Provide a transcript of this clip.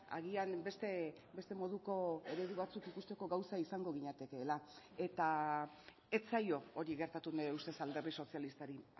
agian beste moduko eredu batzuk ikusteko gauza izango ginatekeela eta ez zaio hori gertatu nire ustez alderdi sozialistari